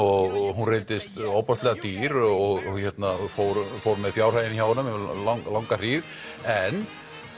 hún reyndist ofboðslega dýr og fór fór með fjárhaginn hjá honum um langa hríð en